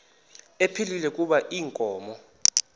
ephilile kuba inkomo